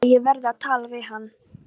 Að ég verði að tala við hann.